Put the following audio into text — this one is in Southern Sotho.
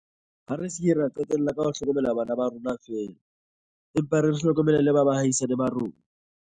Ha re se keng ra qetella ka ho hlokomela bana ba rona feela, empa re hlokomele le ba baahisani ba rona.